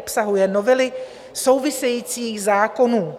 Obsahuje novely souvisejících zákonů,